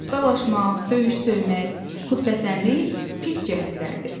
Dalaşmaq, söyüş söymək, xütbəsənlik pis cəhətlərdir.